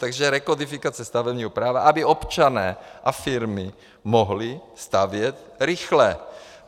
Takže rekodifikace stavebního práva, aby občané a firmy mohli stavět rychle.